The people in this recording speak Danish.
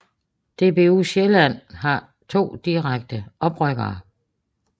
DBU Sjælland har 2 direkte oprykkere